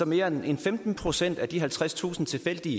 mere end femten procent af de halvtredstusind tilfældigt